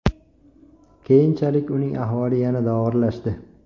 Keyinchalik uning ahvoli yanada og‘irlashdi.